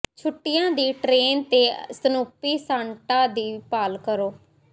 ਛੁੱਟੀਆਂ ਦੀ ਟ੍ਰੇਨ ਤੇ ਸਨੂਪੀ ਸਾਂਟਾ ਦੀ ਭਾਲ ਕਰੋ